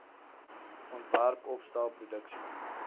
ontwerp opstel produksie